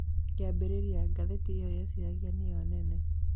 Kiambĩrĩria, Njagathi iyo yeciragia nĩyo nene